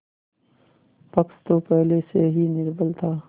पक्ष तो पहले से ही निर्बल था